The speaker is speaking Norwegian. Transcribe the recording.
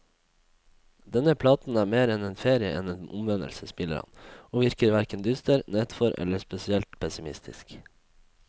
Denne platen er mer en ferie enn en omvendelse, smiler han, og virker hverken dyster, nedfor eller spesielt pessimistisk.